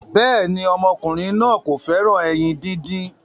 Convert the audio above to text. béèni ọmọkùnrin náa kò féràn ẹyin dín dín.